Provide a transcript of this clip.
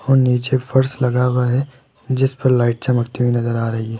और नीचे फर्श लगा हुआ है जिस पर लाइट चमकती हुई नजर आ रही--